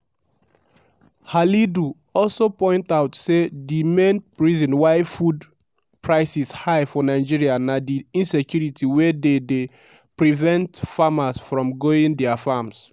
halidu also point out say di main reason why food prices high for nigeria na di insecurity wey dey dey prevent farmers from going dia farms.